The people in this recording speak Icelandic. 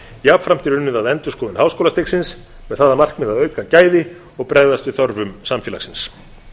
jafnframt er unnið að endurskoðun háskólastigsins með það að markmiði að auka gæði og bregðast við þörfum samfélagsins